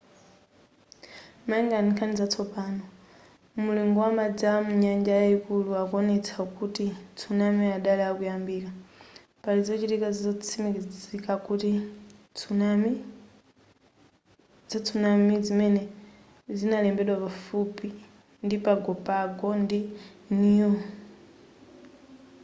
malingana ndi nkhani zatsopano mulingo wa madzi a munyanja yayikulu akuwonetsa kuti tsunami adali akuyambika pali zochitika zotsimikizika za tsunami zimene zinalembedwa pafupi ndi pago pago ndi niue